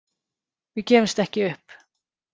Við gefumst ekki upp.